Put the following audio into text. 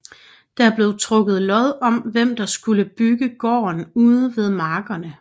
Der blev trukket lod om hvem der skulle bygge gården ude ved markerne